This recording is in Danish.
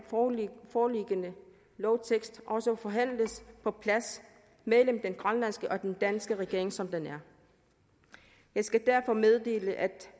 foreliggende lovtekst også forhandles på plads mellem den grønlandske og den danske regering som den er jeg skal derfor meddele at